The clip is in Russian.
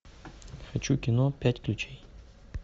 хочу кино пять ключей